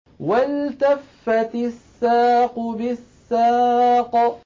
وَالْتَفَّتِ السَّاقُ بِالسَّاقِ